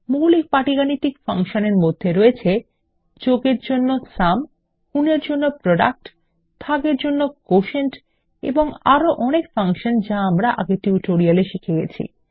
মৌলিক পাটিগাণিতিক ফাংশন এর মধ্যে রয়েছে • যোগ এর জন্য সুম • গুন এর জন্য প্রোডাক্ট • ভাগ এর জন্য কোটিয়েন্ট এবং • আরো অনেক ফাংশন যা আমরা আগের টিউটোরিয়াল এ শিখেছি